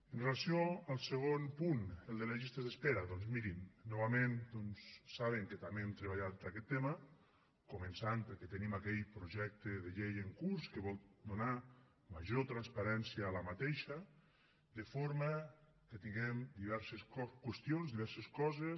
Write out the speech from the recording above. amb relació al segon punt el de les llistes d’espera doncs mirin novament saben que també hem treballat aquest tema començant perquè tenim aquell projecte de llei en curs que vol donar major transparència a aquestes de forma que tinguem diverses qüestions diverses coses